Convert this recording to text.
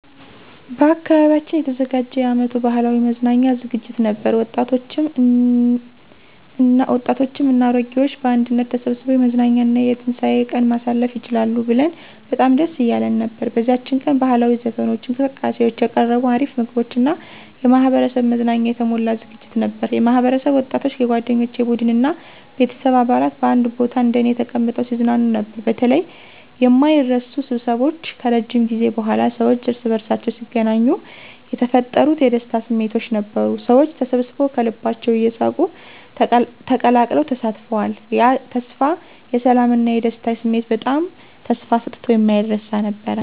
በአካባቢያችን የተዘጋጀ የአመቱ ባህላዊ መዝናኛ ዝግጅት ነበር፤ ወጣቶችም እና አሮጌዎች በአንድነት ተሰብስበው የመዝናኛ እና የትንሳኤ ቀን ማሳለፍ ይችላሉ ብለን በጣም ደስ እያለን ነበር። በዚያች ቀን ባህላዊ ዘፈኖች፣ እንቅስቃሴዎች፣ የቀረቡ አሪፍ ምግቦች እና የማህበረሰብ መዝናኛ የተሞላ ዝግጅት ነበር። የማህበረሰብ ወጣቶች፣ የጓደኞቼ ቡድን እና ቤተሰብ አባላት በአንድ ቦታ እንደኔ ተቀምጠው ሲዝናኑ ነበር። በተለይ የማይረሱ ስብስቦች ከረጅም ጊዜ በኋላ ሰዎች እርስ በርሳቸው ሲገናኙ የተፈጠሩት የደስታ ስሜት ነበሩ። ሰዎች ተሰብስበዉ ከልባቸው እየሳቁ ተቀላቅለው ተሳትፈዋል። ያ ተስፋ የሰላም እና የደስታ ስሜት በጣም ተስፋ ሰጥቶ የማይረሳ ነበር።